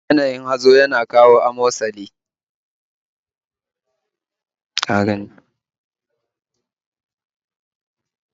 Yanayin hazo yana kawo amosali